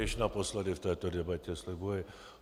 Již naposledy v této debatě, slibuji.